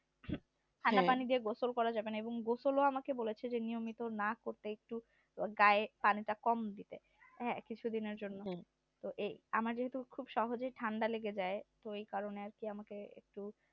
ঠান্ডা পানি দিয়ে গোসল করা যাবে না এবং গোসল নিয়মিত না করলে গায়ে পানিটা কম দেবে হ্যাঁ কিছুদিনের জন্য তো এই আমার যেহেতু খুবই ঠান্ডা লেগে যায় তো এই কারণে আমাকে